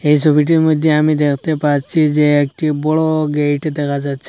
এই সবিটির মইদ্যে আমি দ্যাখতে পাচ্ছি যে একটি বড় গেট দেখা যাচ্ছে।